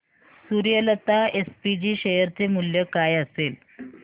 Suryalata SPG share चे मूल्य काय असेल